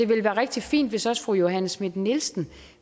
være rigtig fint hvis også fru johanne schmidt nielsen